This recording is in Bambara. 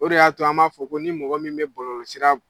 O de y'a to an b'a fɔ ko ni mɔgɔ min bɛ bɔlɔlɔsira b